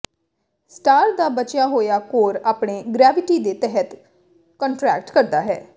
star ਦਾ ਬਚਿਆ ਹੋਇਆ ਕੋਰ ਆਪਣੇ ਗ੍ਰੈਵਟੀਟੀ ਦੇ ਤਹਿਤ ਕੰਟਰੈਕਟ ਕਰਦਾ ਹੈ